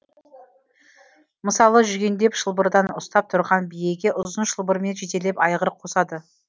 мысалы жүгендеп шылбырдан ұстап түрған биеге ұзын шылбырмен жетелеп айғыр қосады